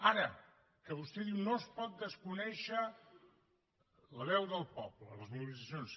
ara que vostè diu no es pot desconèixer la veu del poble les mobilitzacions